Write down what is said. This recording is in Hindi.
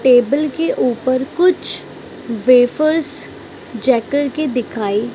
टेबल के ऊपर कुछ वेफर्स के दिखाई --